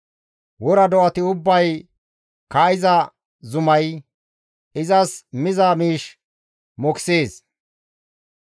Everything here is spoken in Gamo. Wora do7ati ubbay kaa7iza zumay, izas miza miish mokisees.